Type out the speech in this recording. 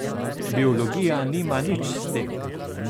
Biologija nima nič s tem.